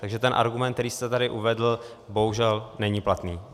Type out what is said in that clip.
Takže ten argument, který jste tady uvedl, bohužel není platný.